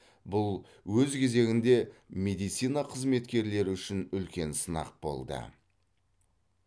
бұл өз кезегінде медицина қызметкерлері үшін үлкен сынақ болды